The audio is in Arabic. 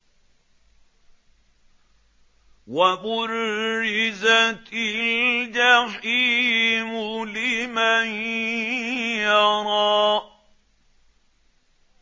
وَبُرِّزَتِ الْجَحِيمُ لِمَن يَرَىٰ